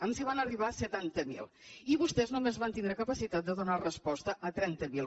els van arribar setanta mil i vostès només van tindre capacitat de donar resposta a trenta mil